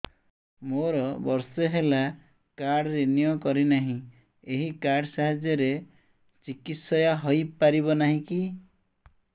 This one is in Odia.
ମୋର ବର୍ଷେ ହେଲା କାର୍ଡ ରିନିଓ କରିନାହିଁ ଏହି କାର୍ଡ ସାହାଯ୍ୟରେ ଚିକିସୟା ହୈ ପାରିବନାହିଁ କି